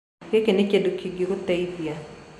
Gĩkĩ nĩ kĩndũ kĩngĩgũteithia.